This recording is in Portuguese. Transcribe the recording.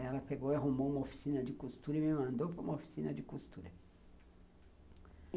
Ela pegou e arrumou uma oficina de costura e me mandou para uma oficina de costura.